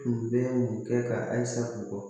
Tun bɛ mun kɛ ka asa mɔgɔ